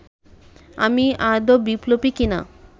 আমি আদৌ বিপ্লবী কিনা